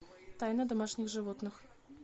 тайна домашних животных